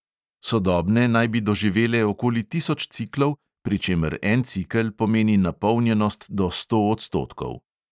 Sodobne naj bi doživele okoli tisoč ciklov, pri čemer en cikel pomeni napolnjenost do sto odstotkov.